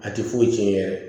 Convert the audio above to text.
A tɛ foyi tiɲɛ yɛrɛ